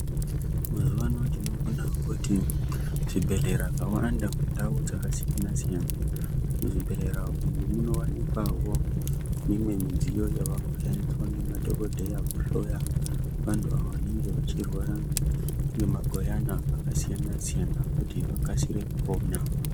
Mazuvano tinoona kuti zvibhedhlera zvawanda mundau dzakasiyana-siyana. Muzvibhedhlera umu munowanikwawo mimwe midziyo yavekushandiswa ngemadhogodheya kuhloya avo vantu vanenge vachirwara ngemagwiyana akasiyana-siyana, kuti vakasire kupona.